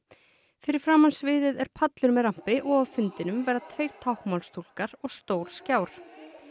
fyrir framan sviðið er pallur með og á fundinum verða tveir táknmálstúlkar og stór skjár